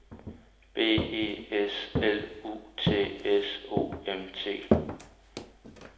B E S L U T S O M T